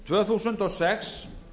tvö þúsund og sex